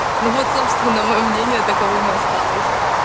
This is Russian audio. ну вот собственно моё мнение таково мы осталось